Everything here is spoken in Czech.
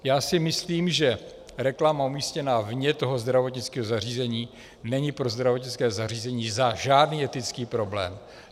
Já si myslím, že reklama umístěná vně toho zdravotnického zařízení není pro zdravotnické zařízení žádný etický problém.